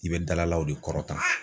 I bɛ dalalaw de kɔrɔ ta.